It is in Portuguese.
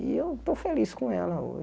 E eu estou feliz com ela